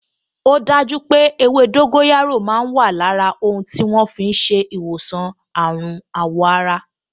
O daju pé ewé dóńgóyárò máa wà lára ohun tí wọ́n fi ń ṣe ìwòsàn àrùn àwọ̀ ara